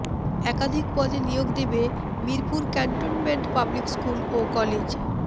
একাধিক পদে নিয়োগ দেবে মিরপুর ক্যান্টনমেন্ট পাবলিক স্কুল ও কলেজ